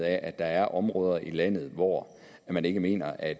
af at der er områder i landet hvor man ikke mener at